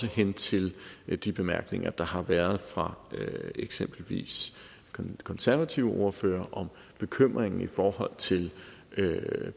hen til de bemærkninger der har været fra eksempelvis den konservative ordfører om bekymringen i forhold til